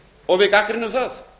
og við gagnrýnum það